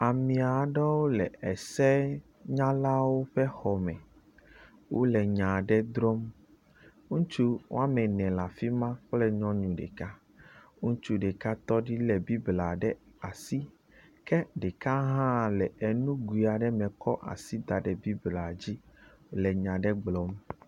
Amea ɖewo le esenyalawo ƒe xɔme. Wole nya ɖe drɔm, ŋutsu woame ene le afi ma kple nyɔnu ɖeka. Ŋutsu ɖeke tɔ ɖi lé bibla ɖe asi, ke ɖeka hã le enugoe aɖe me kɔ asi da ɖe bible dzi le nya aɖe gblɔm.